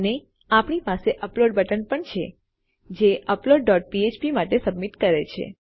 અને આપણી પાસે અપલોડ બટન પણ છે જે અપલોડ ડોટ ફ્ફ્પ માટે સબમિટ કરે છે